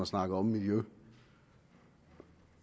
snakker om miljø